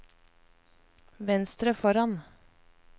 venstre foran